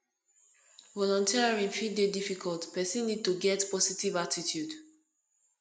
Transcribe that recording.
volunteering fit dey difficult person need to get positive attitude